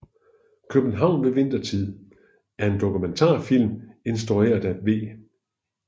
København ved Vintertid er en dokumentarfilm instrueret af V